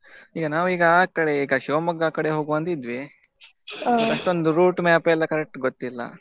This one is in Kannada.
ಈಗ ನಾವೀಗ ಆ ಕಡೆ Shivamogga ಕಡೆ ಹೋಗುವಾ ಅಂತಿದ್ವಿ but ಅಷ್ಟೊಂದು route map ಎಲ್ಲ correct ಗೊತ್ತಿಲ್ಲ.